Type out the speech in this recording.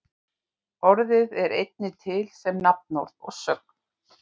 Orðið er einnig til sem nafnorð og sögn.